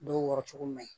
Dɔw wɔɔrɔ cogo ma ɲi